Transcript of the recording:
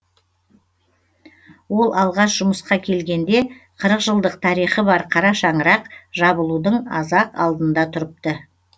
ол алғаш жұмысқа келгенде қырық жылдық тарихы бар қара шаңырақ жабылудың аз ақ алдында тұрыпты